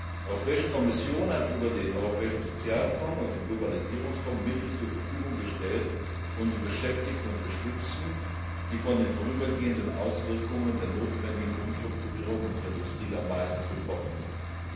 Die Europäische Kommission hat über den Europäischen Sozialfonds und den Globalisierungsfonds Mittel zur Verfügung gestellt, um die Beschäftigten zu unterstützen, die von den vorübergehenden Auswirkungen der notwendigen Umstrukturierung unserer Industrie am meisten betroffenen sind.